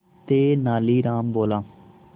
तेनालीराम बोला